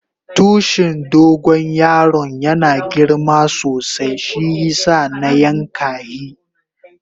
Tushin dogo yaron yana girma sosai shiyasa na yanka hi.